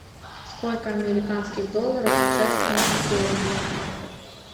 сколько американских долларов сейчас в фунте стерлингов